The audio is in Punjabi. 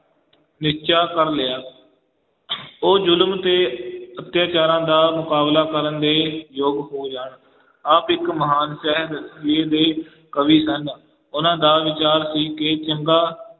ਨਿਸ਼ਚਾ ਕਰ ਲਿਆ ਉਹ ਜ਼ੁਲਮ ਤੇ ਅਤਿਆਚਾਰਾਂ ਦਾ ਮੁਕਾਬਲਾ ਕਰਨ ਦੇ ਯੋਗ ਹੋ ਜਾਣ, ਆਪ ਇੱਕ ਮਹਾਨ ਦੇ ਕਵੀ ਸਨ, ਉਹਨਾਂ ਦਾ ਵਿਚਾਰ ਸੀ ਕਿ ਚੰਗਾ